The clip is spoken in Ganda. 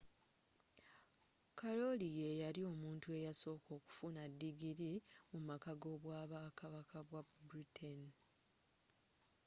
kalooli yeyali omuntu eyasooka okufuna digili mu maka g'obwakabaka bwe britain